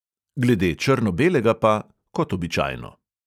Glede črno-belega pa – kot običajno.